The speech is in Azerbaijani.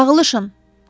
Dağılışın!